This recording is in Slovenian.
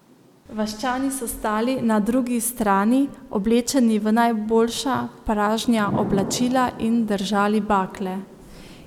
Vaščani so stali na drugi strani, oblečeni v najboljša pražnja oblačila, in držali bakle.